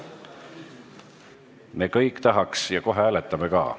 Me kõik tahaks ja kohe hääletame ka.